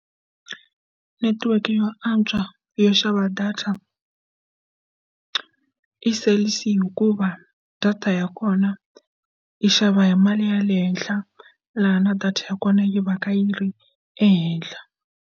Netiweke yo antswa yo xava data i cell_c hikuva data ya kona yi xava hi mali ya le henhla laha na data ya kona yi va ka yi ri ehenhla.